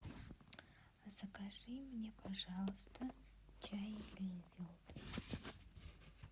закажи мне пожалуйста чай гринфилд